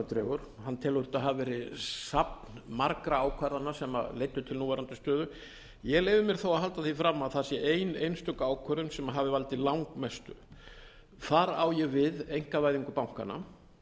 dregur hann telur þetta hafa verið safn margra ákvarðana sem leiddu til núverandi stöðu ég leyfi mér þó að halda því fram að það sé ein einstök ákvörðun sem hafi valdið langmestu þar á ég við einkavæðingu bankanna